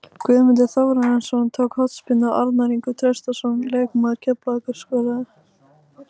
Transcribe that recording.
Guðmundur Þórarinsson tók hornspyrnu og Arnór Ingvi Traustason, leikmaður Keflavíkur, skoraði.